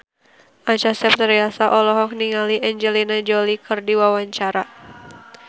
Acha Septriasa olohok ningali Angelina Jolie keur diwawancara